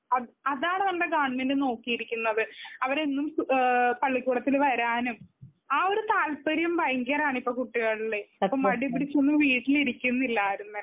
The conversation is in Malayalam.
അത് അതാണ് നമ്മുടെ ഗവണ്മെന്റ് നോക്കിയിരിക്കുന്നത്. അവരെന്നും പള്ളിക്കൂടത്തിൽ വരാനും ആ ഒരു താല്പര്യം ഭയങ്കരമാണിപ്പോൾ കുട്ടികളില്. ഇപ്പൊ മടിപിടിച്ചൊന്നും വീട്ടിലിരിക്കുന്നില്ല ആരും തന്നെ.